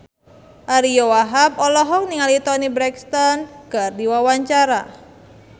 Ariyo Wahab olohok ningali Toni Brexton keur diwawancara